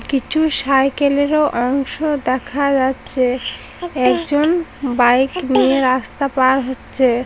কিছু সাইকেল এরও অংশ দেখা যাচ্ছে | একজন বাইক নিয়ে রাস্তা পার হচ্ছে।